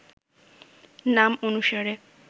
নাম অনুসারে